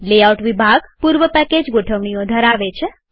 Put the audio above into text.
layout વિભાગ પૂર્વ package ગોઠવણીઓ ધરાવે છે